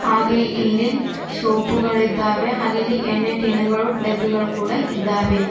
ಹಾಗೆ ಇಲ್ಲಿ ಸೋಪು ಗಳ ಇದ್ದಾವೆ ಹಾಗೆ ಇಲ್ಲಿ ಎಣ್ಣೆ ಟಿನ್ ಗಳು ಡಬ್ಬಿಗಳು ಕೂಡ ಇದ್ದಾವೆ.